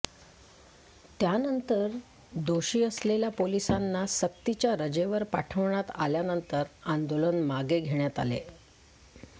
त्यानंतर दोषी असलेल्या पोलिसांना सक्तीच्या रजेवर पाठवण्यात आल्यानंतर आंदोलन मागे घेण्यात आलं